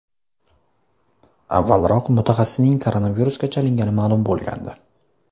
Avvalroq mutaxassisning koronavirusga chalingani ma’lum bo‘lgandi.